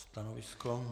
Stanovisko?